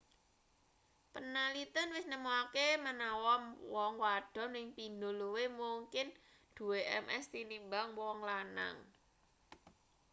panaliten wis nemokake menawa wong wadon ping pindho luwih mungkin duwe ms tinimbang wong lanang